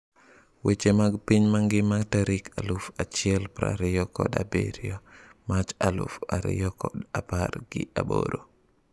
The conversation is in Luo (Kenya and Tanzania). Weche mag piny mangima tarik aluf achiel prariyo kod abirio march aluf ariyokod apar gi aboro